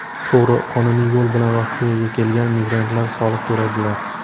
To‘g‘ri, qonuniy yo‘l bilan Rossiyaga kelgan migrantlar soliq to‘laydilar.